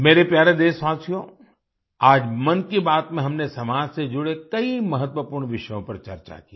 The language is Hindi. मेरे प्यारे देशवासियों आज मन की बात में हमने समाज से जुड़े कई महत्वपूर्ण विषयों पर चर्चा की